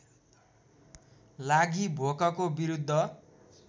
लागि भोकको विरुद्ध